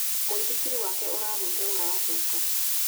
Mũithikiri wake ũragũire ũrathũka.